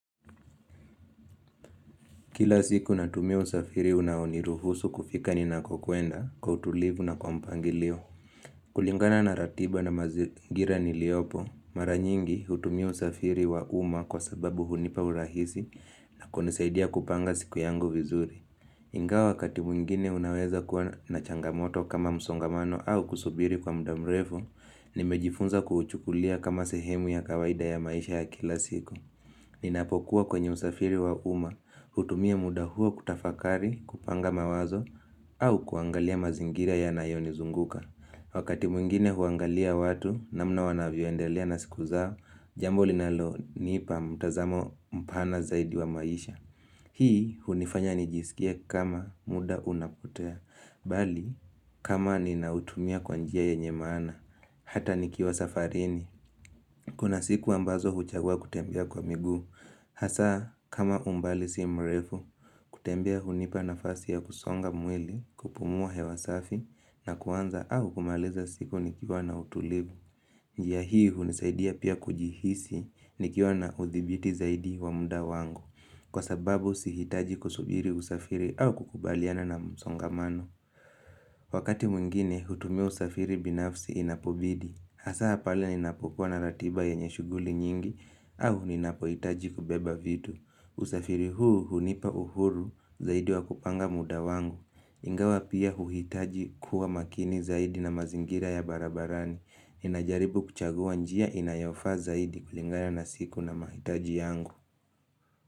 Kila siku natumia usafiri unaoniruhusu kufika ninakokuenda kwa utulivu na kwa mpangilio. Kulingana na ratiba na mazingira niliopo, mara nyingi hutumia usafiri wa uma kwa sababu hunipa urahisi na kunisaidia kupanga siku yangu vizuri. Ingawa wakati mwingine unaweza kuwa na changamoto kama msongamano au kusubiri kwa muda mrefu, nimejifunza kuuchukulia kama sehemu ya kawaida ya maisha ya kila siku. Ninapokuwa kwenye usafiri wa uma, hutumia muda huo kutafakari, kupanga mawazo, au kuangalia mazingira yanayo nizunguka. Wakati mwingine huangalia watu namna wanavyoendelea na siku zao, jambo linalonipa mtazamo mpana zaidi wa maisha. Hii hunifanya nijisikie kama muda unapotea, bali kama ninautumia kwa njia yenye maana, hata nikiwa safarini. Kuna siku ambazo huchagua kutembea kwa miguu, hasa kama umbali si mrefu, kutembea hunipa nafasi ya kusonga mwili, kupumua hewasafi na kuanza au kumaliza siku nikiwa na utulivu. Njia hii hunisaidia pia kujihisi nikiwa na uthibiti zaidi wa muda wangu, kwa sababu sihitaji kusubiri usafiri au kukubaliana na msongamano. Wakati mwingine, hutumia usafiri binafsi inapobidi. Hasa hapale ninapokuwa na ratiba ya yenye shughuli nyingi au ninapohitaji kubeba vitu. Usafiri huu hunipa uhuru zaidi wa kupanga muda wangu. Ingawa pia huhitaji kuwa makini zaidi na mazingira ya barabarani. Inajaribu kuchagua njia inayofaa zaidi kulingana na siku na mahitaji yangu.